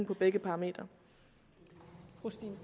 for begge parametre